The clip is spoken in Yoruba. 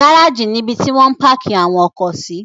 Gárájì nibi ti wọ́n ń páákì àwọn ọkọ̀ sí.